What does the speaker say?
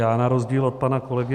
Já na rozdíl od pana kolegy